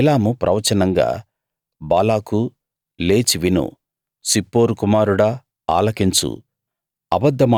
బిలాము ప్రవచనంగా బాలాకూ లేచి విను సిప్పోరు కుమారుడా ఆలకించు